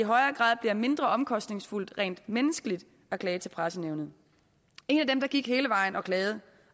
højere grad bliver mindre omkostningsfuldt rent menneskeligt at klage til pressenævnet en af dem der gik hele vejen klagede